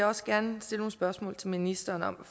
også gerne stille nogle spørgsmål til ministeren om